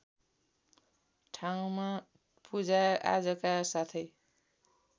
ठाउँमा पूजाआजाका साथै